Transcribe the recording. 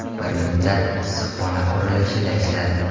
Bir muddat issiqxona qurilishida ishladim.